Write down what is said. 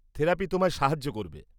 -Therapy তোমায় সাহায্য করবে।